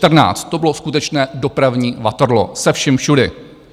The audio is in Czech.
To bylo skutečné dopravní Waterloo, se vším všude.